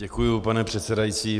Děkuji, pane předsedající.